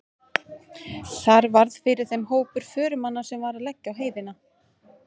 Þar varð fyrir þeim hópur förumanna sem var að leggja á heiðina.